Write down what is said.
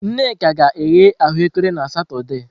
Nneka ga-eghe ahuekere na Satọde.